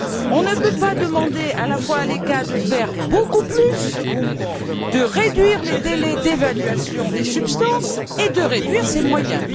On ne peut pas demander à la fois à l'ECHA de faire beaucoup plus, de réduire les délais d'évaluation des substances, et de réduire ses moyens.